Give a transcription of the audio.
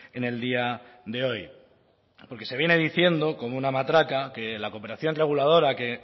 en el día de hoy porque se viene diciendo como una matraca que la cooperación reguladora que